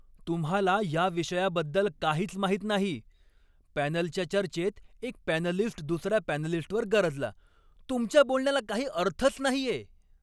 तुम्हाला या विषयाबद्दल काहीच माहित नाही, पॅनलच्या चर्चेत एक पॅनलिस्ट दुसऱ्या पॅनलिस्टवर गरजला. "तुमच्या बोलण्याला काही अर्थच नाहीये!"